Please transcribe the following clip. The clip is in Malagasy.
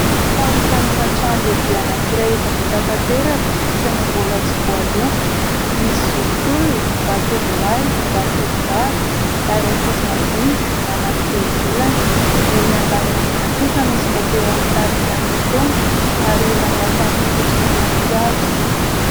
Fanokanana trano lehibe anankiray, efa vita tanteraka saingy mbola tsy voaloako, misy zokiolona, zatovolahy, zatovovavy ary ankizy madinika manatrika eo ivelany ; erỳ an- davarangana kosa misy mopera mitarika ny fotoana ary olona miakanjo fotsy manampy azy.